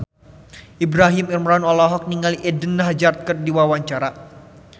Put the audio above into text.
Ibrahim Imran olohok ningali Eden Hazard keur diwawancara